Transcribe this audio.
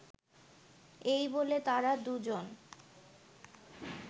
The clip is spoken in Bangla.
এই বলে তারা দুজন